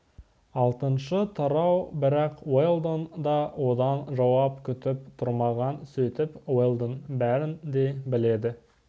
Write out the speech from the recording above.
алтыншы тарау бірақ уэлдон да одан жауап күтіп тұрмаған сөйтіп уэлдон бәрін де біледі